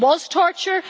It was torture.